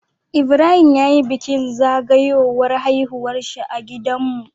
Ibrahim yayi bikin zagawowar haihuwarshi a gidan mu